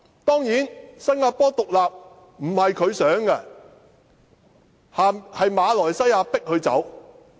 當然新加坡獨立並非他所想，是馬來西亞強迫他們脫離。